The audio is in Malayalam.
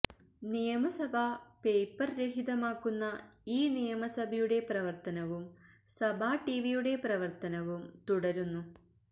നിയമസഭാ പേപ്പർ രഹിതമാക്കുന്ന ഇ നിയമസഭയുടെ പ്രവർത്തനുവും സഭാ ടിവിയുടെ പ്രവർത്തനവും തുടരുന്നു